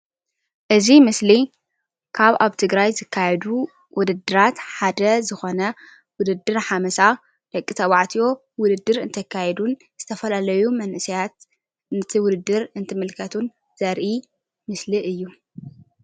እዚ ምስሊ ካብ ኣብ ትግራይ ዝካየዱ ውድድራት ሓደ ዞኾነ ውድድር ሓመሳ ደቂ ተባዕትዮ ውድድርእንተኻይዱ ዘርኢ ምስሊ እዩ።